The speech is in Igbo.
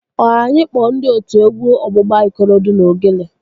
Ọ anyị kpọọ ndị otu egwu ọgbụgba Ikorodu na Ogene?